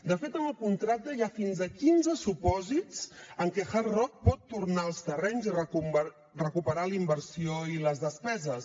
de fet en el contracte hi ha fins a quinze supòsits en què hard rock pot tornar els terrenys i recuperar la inversió i les despeses